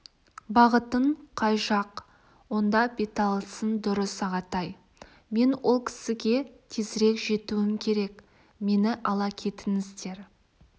бағытың қай жақ онда беталысың дұрыс ағатай мен ол кісіге тезірек жетуім керек мені ала кетіңіздер